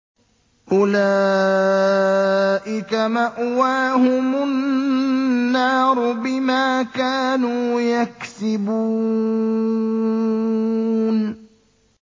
أُولَٰئِكَ مَأْوَاهُمُ النَّارُ بِمَا كَانُوا يَكْسِبُونَ